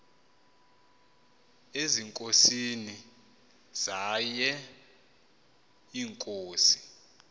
ezinkosini zaye iinkosi